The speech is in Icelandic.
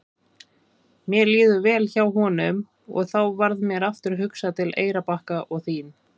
Mér líður vel hjá honum og þá varð mér aftur hugsað til Eyrarbakka og þín.